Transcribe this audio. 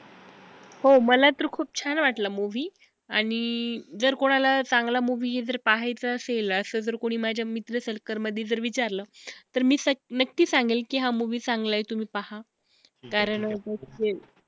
हो मला तर खूप छान वाटला movie आणि जर कोणाला चांगला movie जर पाहायचा असेल असं जर कोणी माझ्या मित्र circle मधी जर विचारलं तर मी स नक्की सांगेन की हा movie चांगला आहे तुम्ही पहा, कारण अं